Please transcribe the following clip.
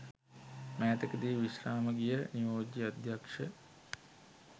මෑතකදී විශ්‍රාම ගිය නියෝජ්‍ය අධ්‍යක්‍ෂ